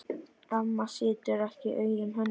Amma situr ekki auðum höndum.